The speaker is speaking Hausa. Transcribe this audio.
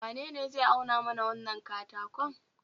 wanene zai auna mana wannan katakon?